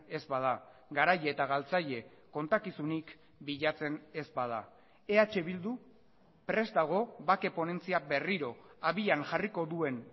ez bada garai eta galtzaile kontakizunik bilatzen ez bada eh bildu prest dago bake ponentzia berriro abian jarriko duen